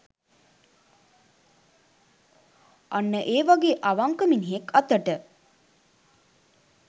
අන්න ඒ වගේ අවංක මිනිහෙක් අතට